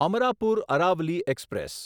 Amarapur Aravali express